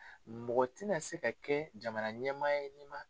Mɔgɔ ti na se ka kɛ jamana ɲɛmaa ye nin ma